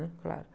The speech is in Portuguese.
Claro.